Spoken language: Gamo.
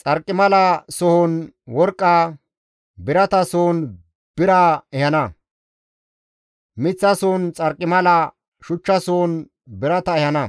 Xarqimala sohon worqqa, birata sohon bira ehana; miththa sohon xarqimala, shuchcha sohon birata ehana;